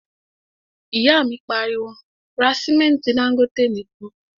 ìyá mi pariwo, 'ra sìmẹ́ntí Dangote nìkan'